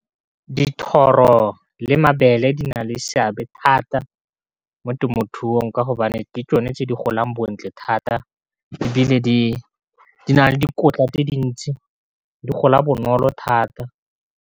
Dithoro le mabele di na le seabe thata mo temothuong ka gobane ke tsone tse di golang bontle thata, e bile di na le dikotla tse dintsi di gola bonolo thata.